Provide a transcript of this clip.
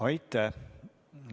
Aitäh!